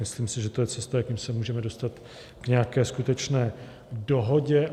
Myslím si, že to je cesta, jakou se můžeme dostat k nějaké skutečné dohodě.